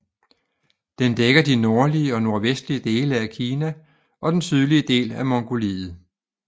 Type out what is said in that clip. Den dækker de nordlige og nordvestlige dele af Kina og den sydlige del af Mongoliet